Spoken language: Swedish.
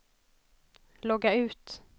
logga ut